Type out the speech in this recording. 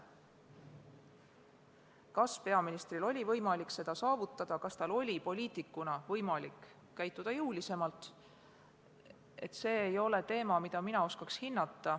See, kas peaministril oli võimalik seda saavutada, kas tal oli poliitikuna võimalik käituda jõulisemalt, ei ole teema, mida mina oskaks hinnata.